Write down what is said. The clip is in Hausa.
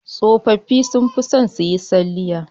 Tsofaffi sun fi son su yi salliya